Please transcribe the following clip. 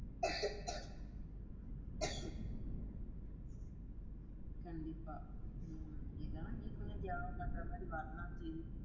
கண்டிப்பா. உம் அப்படிதான் நீ கூட தியாகம் பண்றமாதிரி வரலாம் செய்~